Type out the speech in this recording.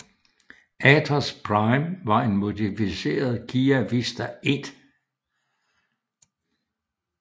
Atos Prime var en modificeret Kia Visto I